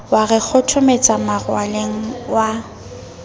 wa re kgothometsa maralleng wa